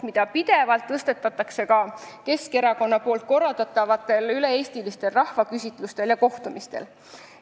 Seda teemat tõstatatakse pidevalt ka Keskerakonna korraldatavatel üle-eestilistel rahvaküsitlustel ja kohtumistel.